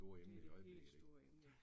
Det det helt store emne